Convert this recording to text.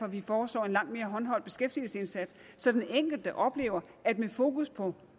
vi foreslår en langt mere håndholdt beskæftigelsesindsats så den enkelte oplever at der er fokus på